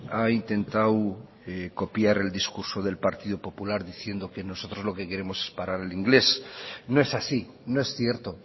ha intentado copiar el discurso del partido popular diciendo que nosotros lo que queremos es parar el inglés no es así no es cierto